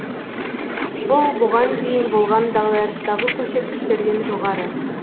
бұл бұған дейін болған дағдарыстағы көрсеткіштерден жоғары